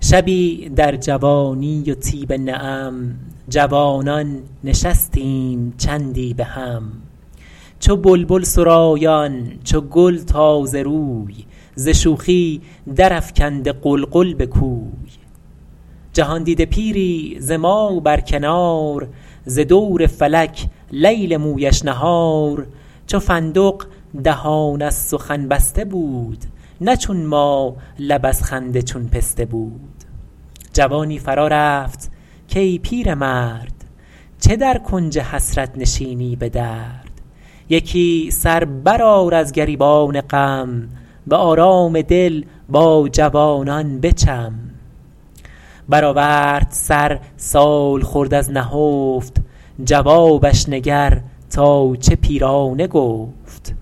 شبی در جوانی و طیب نعم جوانان نشستیم چندی بهم چو بلبل سرایان چو گل تازه روی ز شوخی در افکنده غلغل به کوی جهاندیده پیری ز ما بر کنار ز دور فلک لیل مویش نهار چو فندق دهان از سخن بسته بود نه چون ما لب از خنده چون پسته بود جوانی فرا رفت کای پیرمرد چه در کنج حسرت نشینی به درد یکی سر برآر از گریبان غم به آرام دل با جوانان بچم برآورد سر سالخورد از نهفت جوابش نگر تا چه پیرانه گفت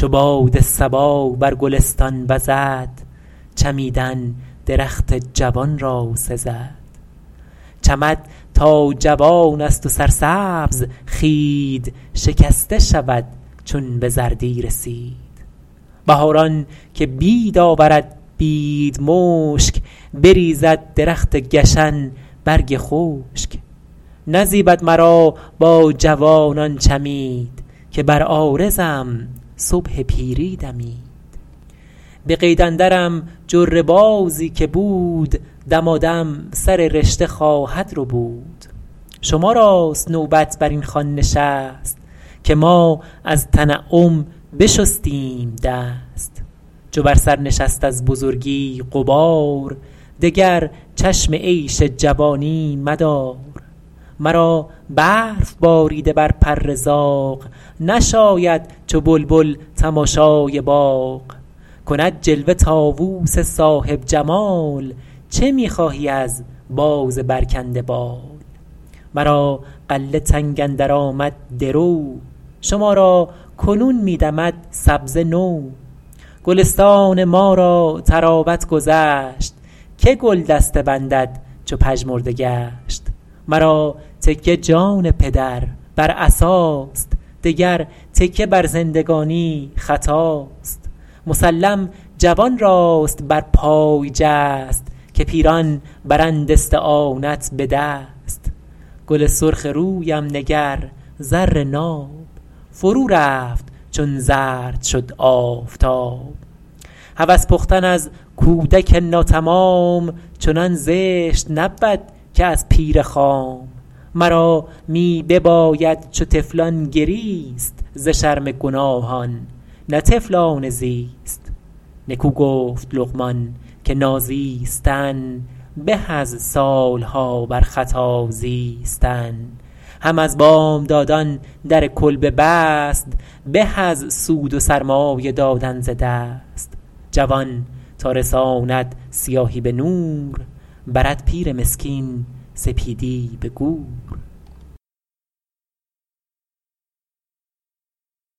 چو باد صبا بر گلستان وزد چمیدن درخت جوان را سزد چمد تا جوان است و سرسبز خوید شکسته شود چون به زردی رسید بهاران که بید آورد بید مشک بریزد درخت گشن برگ خشک نزیبد مرا با جوانان چمید که بر عارضم صبح پیری دمید به قید اندرم جره بازی که بود دمادم سر رشته خواهد ربود شما راست نوبت بر این خوان نشست که ما از تنعم بشستیم دست چو بر سر نشست از بزرگی غبار دگر چشم عیش جوانی مدار مرا برف باریده بر پر زاغ نشاید چو بلبل تماشای باغ کند جلوه طاووس صاحب جمال چه می خواهی از باز برکنده بال مرا غله تنگ اندر آمد درو شما را کنون می دمد سبزه نو گلستان ما را طراوت گذشت که گل دسته بندد چو پژمرده گشت مرا تکیه جان پدر بر عصاست دگر تکیه بر زندگانی خطاست مسلم جوان راست بر پای جست که پیران برند استعانت به دست گل سرخ رویم نگر زر ناب فرو رفت چون زرد شد آفتاب هوس پختن از کودک ناتمام چنان زشت نبود که از پیر خام مرا می بباید چو طفلان گریست ز شرم گناهان نه طفلانه زیست نکو گفت لقمان که نازیستن به از سالها بر خطا زیستن هم از بامدادان در کلبه بست به از سود و سرمایه دادن ز دست جوان تا رساند سیاهی به نور برد پیر مسکین سپیدی به گور